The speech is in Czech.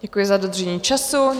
Děkuji za dodržení času.